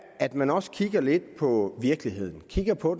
at man også kigger lidt på virkeligheden kigger på